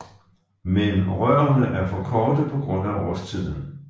Men rørene er for korte på grund af årstiden